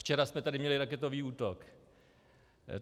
Včera jsme tady měli raketový útok.